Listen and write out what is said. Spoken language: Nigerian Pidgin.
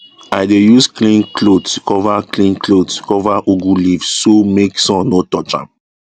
i dey use clean cloth cover clean cloth cover ugu leaf so make sun no touch am